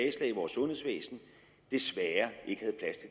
i vores sundhedsvæsen desværre